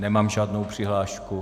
Nemám žádnou přihlášku.